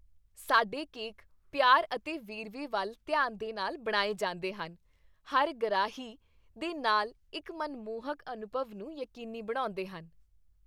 ਸਾਡੇ ਕੇਕ ਪਿਆਰ ਅਤੇ ਵੇਰਵੇ ਵੱਲ ਧਿਆਨ ਦੇ ਨਾਲ ਬਣਾਏ ਜਾਂਦੇ ਹਨ, ਹਰ ਗਰਾਹੀ ਦੇ ਨਾਲ ਇੱਕ ਮਨਮੋਹਕ ਅਨੁਭਵ ਨੂੰ ਯਕੀਨੀ ਬਣਾਉਂਦੇਹਨ।